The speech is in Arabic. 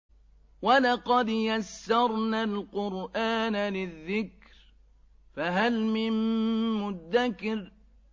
وَلَقَدْ يَسَّرْنَا الْقُرْآنَ لِلذِّكْرِ فَهَلْ مِن مُّدَّكِرٍ